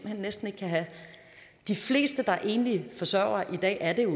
jeg næsten ikke kan have de fleste der er enlige forsørgere i dag er det jo